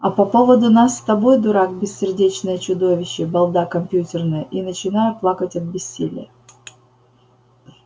а по поводу нас с тобой дурак бессердечное чудовище балда компьютерная и начинаю плакать от бессилия